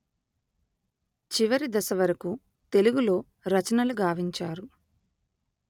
చివరి దశ వరకు తెలుగులో రచనలు గావించారు